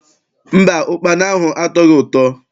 Mba, ụkpana ahụ atọghị ụtọ.